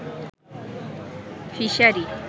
fishery